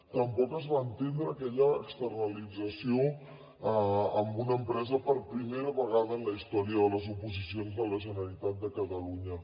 tampoc es va entendre aquella externalització amb una empresa per primera vegada en la història de les oposicions de la generalitat de catalunya